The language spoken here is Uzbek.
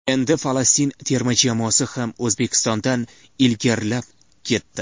Endi Falastin terma jamoasi ham O‘zbekistondan ilgarilab ketdi.